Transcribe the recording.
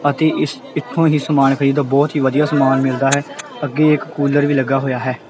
ਅਤੇ ਇਸ ਇਥੋਂ ਹੀ ਸਮਾਨ ਖਰੀਦੋ ਬਹੁਤ ਹੀ ਵਧੀਆ ਸਮਾਨ ਮਿਲਦਾ ਹੈ ਅੱਗੇ ਇੱਕ ਕੂਲਰ ਵੀ ਲੱਗਾ ਹੋਇਆ।